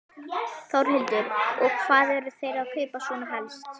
Þórhildur: Og hvað eru þeir að kaupa svona helst?